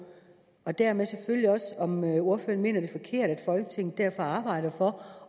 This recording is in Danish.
og dermed selvfølgelig også om ordføreren mener det er forkert at folketinget derfor arbejder for